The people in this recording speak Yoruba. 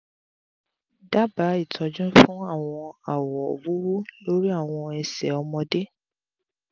dabaa itọju fun awọn awo wuwu lori awọn ẹsẹ ọmọde